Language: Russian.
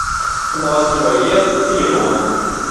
новостройлес телефон